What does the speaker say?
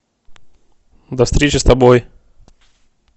до встречи с тобой